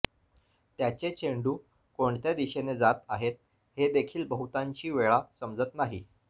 त्याचे चेंडू कोणत्या दिशेने जात आहेत हेदेखील बहुतांशी वेळा समजत नाही